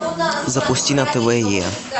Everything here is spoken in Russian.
запусти на тв е